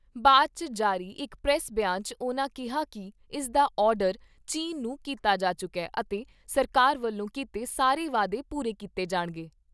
ਬਾਅਦ 'ਚ ਜਾਰੀ ਇਕ ਪ੍ਰੈਸ ਬਿਆਨ 'ਚ ਉਨ੍ਹਾਂ ਕਿਹਾ ਕਿ ਇਸਦਾ ਆਰਡਰ ਚੀਨ ਨੂੰ ਕੀਤਾ ਜਾ ਚੁੱਕਾ ਅਤੇ ਸਰਕਾਰ ਵੱਲੋਂ ਕੀਤੇ ਸਾਰੇ ਵਾਅਦੇ ਪੂਰੇ ਕੀਤੇ ਜਾਣਗੇ।